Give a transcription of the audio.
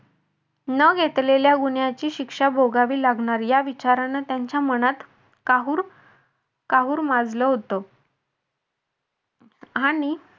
न घेतलेल्या गुन्ह्याची शिक्षा भोगावी लागणार या विचारानं त्यांच्या मनात काहूर काहूर माजल होत. आणि